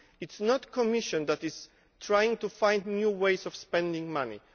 It is not the Commission that is trying to find new ways of spending money.